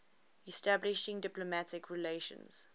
establishing diplomatic relations